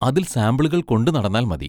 അതിൽ സാമ്പിളുകൾ കൊണ്ടു നടന്നാൽ മതി.